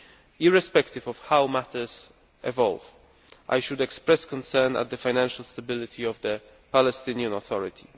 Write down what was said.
Irrespective of how matters evolve, I must express concern at the financial stability of the Palestinian Authority.